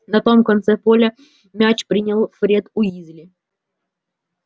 на том конце поля мяч принял фред уизли